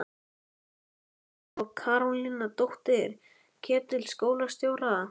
Úlli frændi og Karólína, dóttir Ketils skólastjóra!